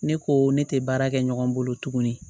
Ne ko ne tɛ baara kɛ ɲɔgɔn bolo tuguni